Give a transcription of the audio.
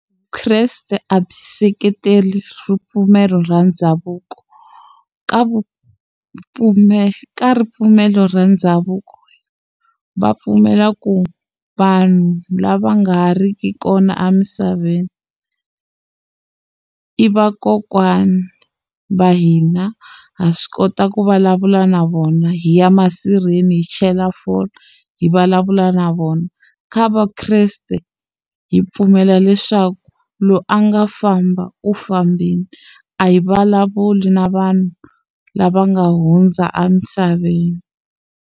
Vukreste a byi seketele ripfumelo ra ndhavuko ka vupfumeri ripfumelo ra ndhavuko va pfumela ku vanhu lava nga ri ki kona emisaveni i va kokwana va hina ha swi kota ku vulavula na vona hi ya masirheni hi chela phole hi vulavula na vona kha va kreste hi pfumela leswaku loyi a nga famba u fambini a hi vulavuli na vanhu lava nga hundza emisaveni.